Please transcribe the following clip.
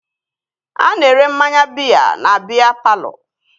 A na-ere mmanya biya na biya palọ